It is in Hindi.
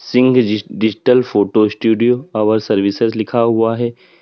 Singh ji digital photo studio our services लिखा हुआ है।